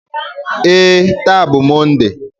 Ee, taa bụ Mọnde.